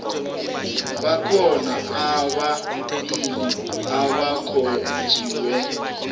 bakhona ababili abakhonjwe